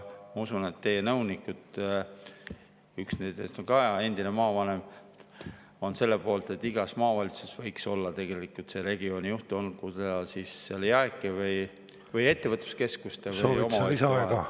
Ma usun, et teie nõunikud, üks nendest on ka endine maavanem, on ka selle poolt, et igas maavalitsuses võiks olla see regioonijuht, olgu ta siis seal JAEK‑i või ettevõtluskeskuste või omavalitsuste oma.